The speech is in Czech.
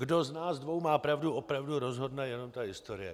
Kdo z nás dvou má pravdu, opravdu rozhodne jenom ta historie.